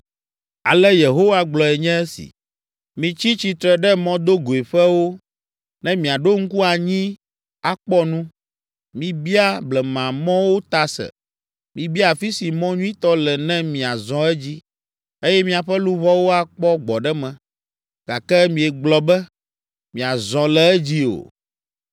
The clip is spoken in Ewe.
Ale Yehowa gblɔe nye esi: “Mitsi tsitre ɖe mɔdogoeƒewo ne miaɖo ŋku anyi akpɔ nu. Mibia blemamɔwo ta se, mibia afi si mɔ nyuitɔ le ne miazɔ edzi, eye miaƒe luʋɔwo akpɔ gbɔɖeme. Gake miegblɔ be, ‘Miazɔ le edzi o.’